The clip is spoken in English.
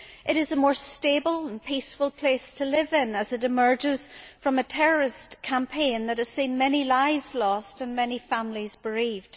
It is a more stable and peaceful place to live in as it emerges from a terrorist campaign that has seen many lives lost, and many families bereaved.